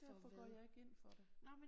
Derfor går jeg ikke ind for det